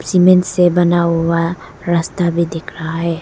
Cement से बना हुआ रास्ता भी दिख रहा है।